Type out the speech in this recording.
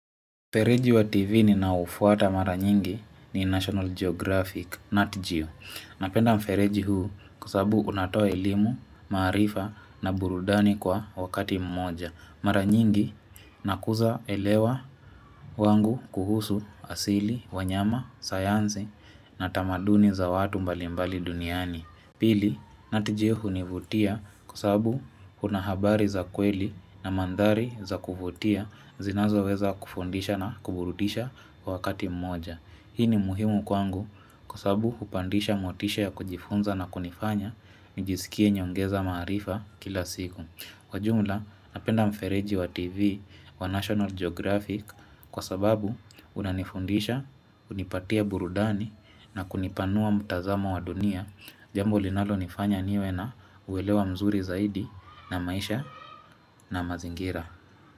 Fereji wa TV ninaofuata mara nyingi ni National Geographic, NATJU. Napenda mfereji huu kwa sababu unatoa elimu, marifa na burudani kwa wakati mmoja. Mara nyingi nakuza elewa wangu kuhusu asili, wanyama, sayanzi na tamaduni za watu mbalimbali duniani. Pili, NATJA hunivutia kwa sababu Kuna habari za kweli na mandhari za kuvutia zinazoweza kufundisha na kuburudisha kwa wakati mmoja. Hii ni muhimu kwangu kwa sababu hupandisha motisha ya kujifunza na kunifanya nijisikie naongeza maarifa kila siku. Kwa jumla, napenda mfereji wa TV wa National Geographic kwa sababu unanifundisha, hunipatia burudani na kunipanua mtazamo wa dunia, jambo linalonifanya niwe na kuelewa mzuri zaidi na maisha na mazingira.